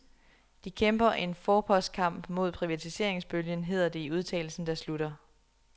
De kæmper en forpostkamp mod privatiseringsbølgen, hedder det i udtalelsen, der slutter.